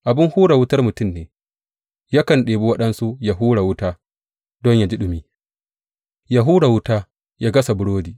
Abin hura wutar mutum ne; yakan ɗebi waɗansu yă hura wuta don yă ji ɗumi, ya hura wuta yă gasa burodi.